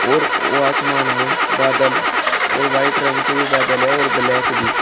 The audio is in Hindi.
और वो आसमान में बादल और व्हाइट रंग के भी बादल है और ब्लैक भी--